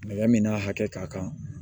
n'a hakɛ ka kan